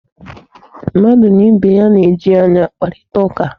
Mmadụ na ibe ya na-eji anya akparịta ụka.